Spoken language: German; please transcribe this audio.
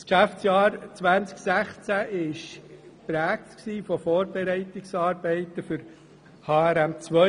Das Geschäftsjahr 2016 war geprägt von den Vorbereitungsarbeiten im Hinblick auf HRM2.